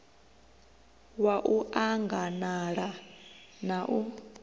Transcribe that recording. wa u anganala na u